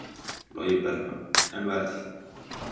Logi Bergmann: En verð?